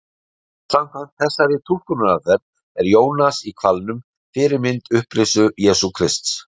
Samkvæmt þessari túlkunaraðferð er Jónas í hvalnum fyrirmynd upprisu Jesú Krists.